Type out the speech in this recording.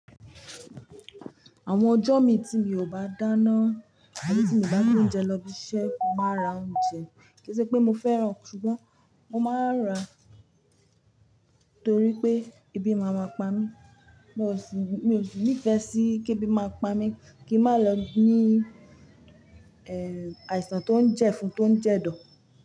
Àwọn ọjọ́ mi tí mi ò bá dáná, tàbí tí mo bá gbé oúnjẹ lọ ibi iṣẹ́, mo máa ra oúnjẹ. Kì í ṣe pé mo fẹ́ràn, ṣùgbọ́n mo máa ra torí pé ebi máa ma pa mí. Mo sì, mi ò sì nífẹ̀ẹ́ sí kí ebi máa pa mí, kí n má lọ ní, ẹ, àìsàn tó ń jẹ fun, tó ń jẹ dọ̀.